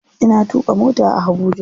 Ina tuƙa mota a Habuja.